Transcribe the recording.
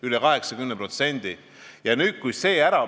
Üle 80%!